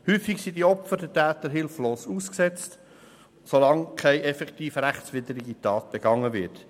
Häufig sind die Opfer den Tätern hilflos ausgesetzt, solange keine effektiv rechtswidrige Tat begangen wird.